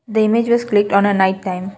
The images click on a night time.